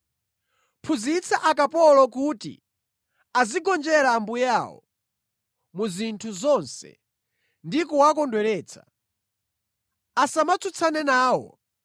Phunzitsa akapolo kuti azigonjera ambuye awo mu zinthu zonse ndi kuwakondweretsa. Asamatsutsane nawo